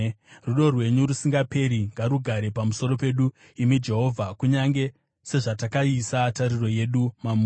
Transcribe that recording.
Rudo rwenyu rusingaperi ngarugare pamusoro pedu, imi Jehovha, kunyange sezvatakaisa tariro yedu mamuri.